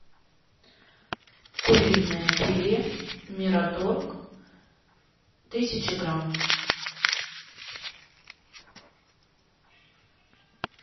куриное филе мираторг тысяча грамм